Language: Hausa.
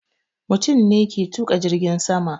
Mutum ne ke tuƙa jirgin sama